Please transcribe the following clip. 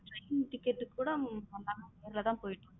Train ticket குட நம்ம தான் நேருல போயிடு வாரோம்.